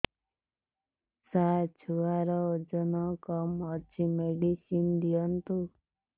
ସାର ଛୁଆର ଓଜନ କମ ଅଛି ମେଡିସିନ ଦିଅନ୍ତୁ